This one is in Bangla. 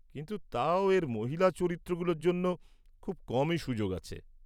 কিন্তু তাও এর মহিলা চরিত্রগুলোর জন্য খুব কমই সুযোগ আছে।